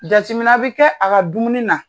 Jateminɛ bɛ kɛ a ka dumuni na